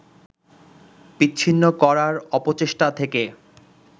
বিচ্ছিন্ন করার অপচেষ্টা থেকে